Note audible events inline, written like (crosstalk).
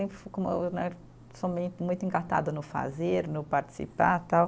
(unintelligible) Muito encartada no fazer, no participar tal.